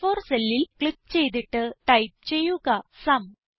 അ4 cellൽ ക്ലിക്ക് ചെയ്തിട്ട് ടൈപ്പ് ചെയ്യുക സും